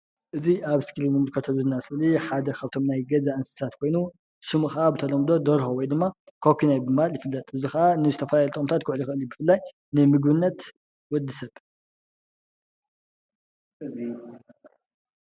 እዚ ኣብ ስክሪን ንምልከቶ ዘለና ስእሊ ሓድ ካፍቶም ናይ ገዛ እንስሳ ኮይኑ ሽሙ ካዓ ብተለምዶ ደርሆ ወይ ድማ ኳኩናይ ብምባል ይፍለጥ እዚ ከዓ ዝትፈላለየ ጥቅምታት ክውዕል ይክእል እዩ ብፍላይ ንምግብነት ወዲሰብ ።